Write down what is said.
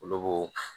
Olu bo